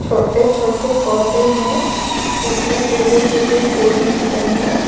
छोटे छोटे पौधे हैं। इसमें पीले पीले फूल निकले हैं।